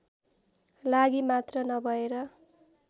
लागि मात्र नभएर